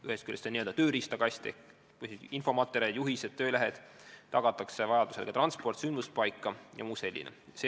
Olemas peavad olema n-ö tööriistakasti kuuluvad infomaterjalid, juhised, töölehed, vajadusel tuleb tagada transport sündmuspaika jms.